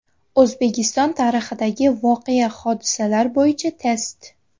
O‘zbekiston tarixidagi voqea-hodisalar bo‘yicha test.